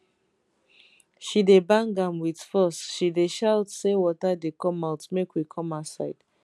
she dey bang am with force she dey shout say water dey come out make we come outside